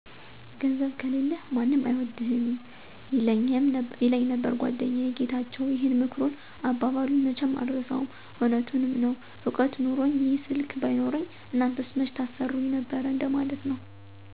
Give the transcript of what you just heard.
''ገንዘብ ከሌለህ ማንም አይወድህም''ይለኘመ ነበር ጎደኛየ ጌታቸው ይህን ምክሩንና አባባሉን መቸም አረሳውም እውነቱንምዐነው እውቀት ኑኖኚ ይህ ስልክ ባይኖረኚ እናንተስ መቸ ታሰሩኚ ነበር እንደ ማለት ነው።